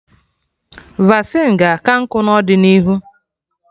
Vasịn ga-aka nkụ n'ọdịnihu